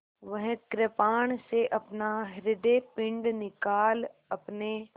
वह कृपाण से अपना हृदयपिंड निकाल अपने